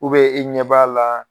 i ɲɛ b'a la.